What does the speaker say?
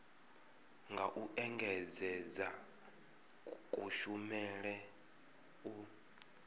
nga u engedzedza kushumele u